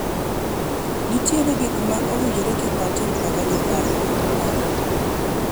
nitiere gik ma owinjore kik watim kaka jokanyo mar riwruok